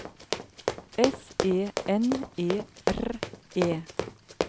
S E N E R E